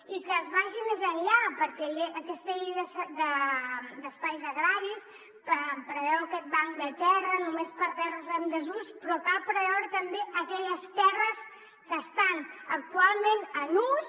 i que es vagi més enllà perquè aquesta llei d’espais agraris preveu aquest banc de terra només per a terres en desús però cal preveure també aquelles terres que estan actualment en ús